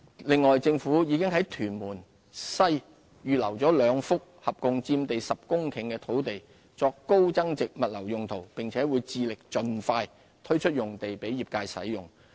另外，政府已在屯門西預留兩幅共佔地約10公頃的土地作高增值物流用途，並會致力盡快推出用地給業界使用。